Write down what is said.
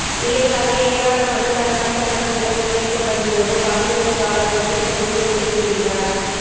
விளைவாக ஏராளமான தரமற்ற பக்கங்கள் முன்வைக்கப்படும்போது வாசகன் காலப்போக்கில் சலித்து விலகிவிடுகிறான்